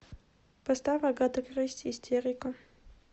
поставь агата кристи истерика